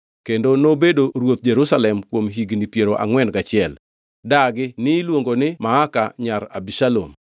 kendo nobedo ruoth Jerusalem kuom higni piero angʼwen gachiel. Dagi niluongo ni Maaka nyar Abishalom.